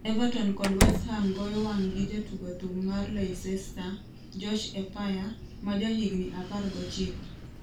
Everton kod Westham goyo wang'gi jatugo thum mar Leicester, Josh Eppiah, ma jahigni apar gochiko.